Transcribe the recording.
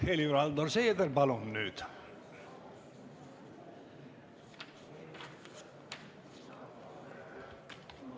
Helir-Valdor Seeder, palun nüüd!